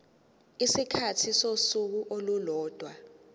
isikhathi sosuku olulodwa